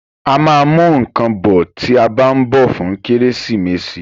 A ma mú nǹkan bọ̀ tí a bá ń bọ̀ fún Kérésìmesì